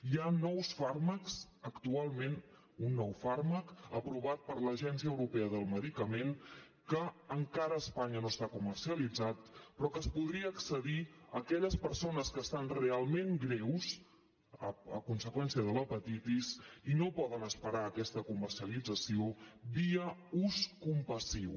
hi ha nous fàrmacs actualment un nou fàrmac aprovat per l’agència europea del medicament que encara a espanya no està comercialitzat però que hi podrien accedir aquelles persones que estan realment greus a conseqüència de l’hepatitis i no poden esperar aquesta comercialització via ús compassiu